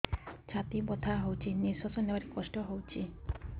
ଛାତି ବଥା ହଉଚି ନିଶ୍ୱାସ ନେବାରେ କଷ୍ଟ ହଉଚି